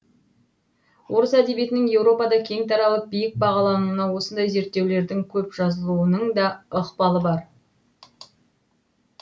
орыс әдебиетінің еуропада кең таралып биік бағалануына осындай зерттеулердің көп жазылуының да ықпалы бар